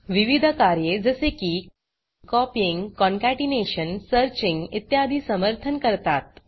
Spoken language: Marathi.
विविध कार्ये जसे की कॉपीइंग कॉन्केटेनेशन सर्चिंग इत्यादी समर्थन करतात